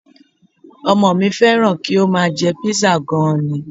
Ọmọ mi fẹ́ràn kí ó máa jẹ Písà gan-an ni